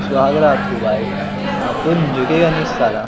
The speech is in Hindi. सुहाग रात हो भाई अपुन झुकेगा नही साला --